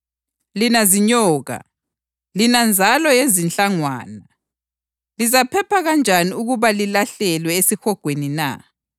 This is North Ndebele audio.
Lina zinyoka! Lina nzalo yezinhlangwana! Lizaphepha kanjani ukuba lilahlelwe esihogweni na?